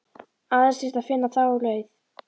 Aðeins þyrfti að finna þá leið.